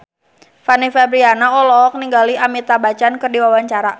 Fanny Fabriana olohok ningali Amitabh Bachchan keur diwawancara